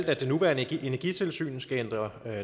at det nuværende energitilsynet skal ændre